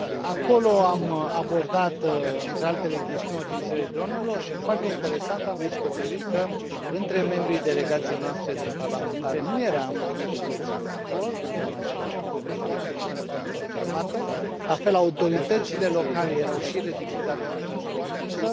Acolo am abordat, între altele, chestiunea utilizării dronelor și, foarte interesant, am descoperit că, între membrii delegației noastre de parlamentari, nu eram cu toții de acord, nu aveam același punct de vedere în chestiunea dronelor înarmate, la fel autoritățile locale erau și ele divizate în această privință